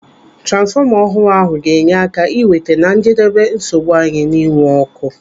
Transfọma ọhụrụ ahụ ga-enye aka iweta na njedebe nsogbu anyị na-enwe n'ọkụ.